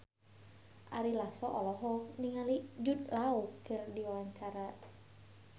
Ari Lasso olohok ningali Jude Law keur diwawancara